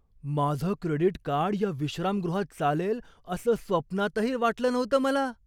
माझं credit card या विश्रामगृहात चालेल असं स्वप्नातही वाटलं नव्हतं मला!